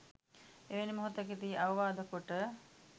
එවැනි මොහොතකදී අවවාද කොට